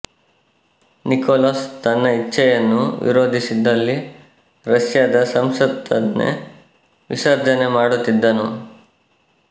Nicolas ತನ್ನ ಇಚ್ಛೆಯನ್ನು ವಿರೋಧಿಸಿದಲ್ಲಿ ರಷ್ಯಾದ ಸಂಸತ್ತನ್ನೇ ವಿಸರ್ಜನೆ ಮಾಡುತ್ತಿದ್ದನು